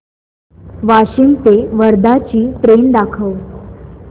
वाशिम ते वर्धा ची ट्रेन दाखव